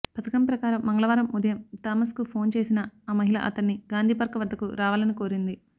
పథకం ప్రకారం మంగళవారం ఉదయం థామస్కు ఫోన్ చేసిన ఆ మహిళ అతన్ని గాంధీ పార్క్ వద్దకు రావాలని కోరింది